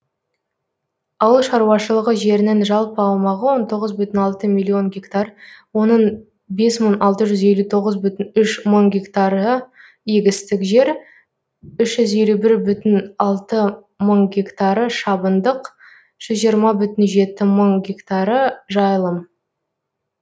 ауыл шаруашылығы жерінің жалпы аумағы он тоғыз бүтін алты миллион гектар оның бес мың алты жүз елу тоғыз бүтін үш мың гектары егістік жер үш жүз елу бір бүтін алты мың гектары шабындық жүз жиырма бүтін жеті мың гектары жайылым